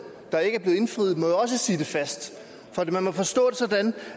der ikke er blevet indfriet må også sitte fast for det må jo forstås sådan